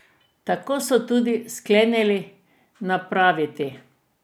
Tako so tudi sklenili napraviti.